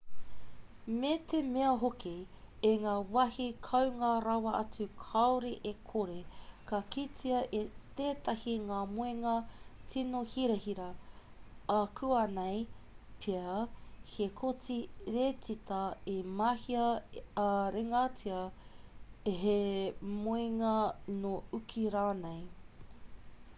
me te mea hoki i ngā wāhi kounga rawa atu kāore e kore ka kitea e tētahi ngā moenga tīno hirahira ākuanei pea he koti riteta i mahia ā-ringatia he moenga nō uki rānei